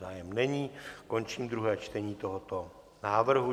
Zájem není, končím druhé čtení tohoto návrhu.